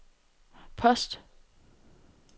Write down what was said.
post